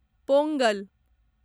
Pongal